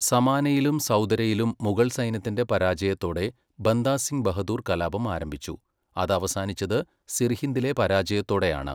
സമാനയിലും സൗദരയിലും മുഗൾ സൈന്യത്തിൻ്റെ പരാജയതോടെ ബന്ദാ സിംഗ് ബഹദൂർ കലാപം ആരംഭിച്ചു, അത് അവസാനിച്ചത് സിർഹിന്ദിലെ പരാജയത്തോടാണ്.